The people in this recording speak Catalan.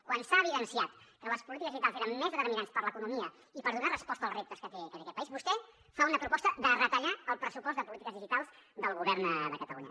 quan s’ha evidenciat que les polítiques digitals eren més determinants per a l’economia i per donar resposta als reptes que té aquest país vostè fa una proposta de retallar el pressupost de polítiques digitals del govern de catalunya